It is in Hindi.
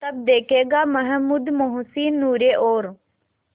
तब देखेगा महमूद मोहसिन नूरे और